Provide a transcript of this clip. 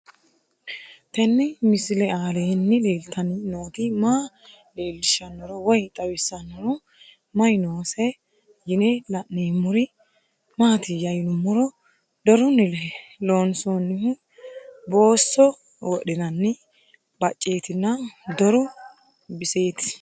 Tenni misile aleenni leelittanni nootti maa leelishshanno woy xawisannori may noosse yinne la'neemmori maattiya yinummoro dorunni loonsoonnihu boosso wodhinanni bacceettinna doru disiteetti